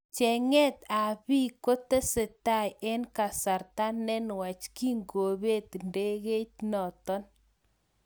Chenget ab bek kotesetai eng kasarta nenwach kingobet ndegeit natok.